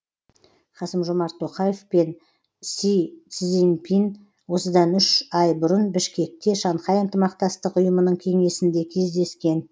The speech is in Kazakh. қасым жомарт тоқаев пен си цзиньпин осыдан үш ай бұрын бішкекте шанхай ынтымақтастық ұйымының кеңесінде кездескен